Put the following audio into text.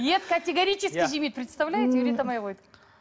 ет категорически жемейді представляете үйрете алмай қойдық